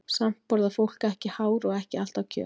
Samt borðar fólk ekki hár og ekki alltaf kjöt.